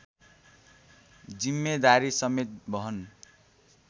जिम्मेदारी समेत वहन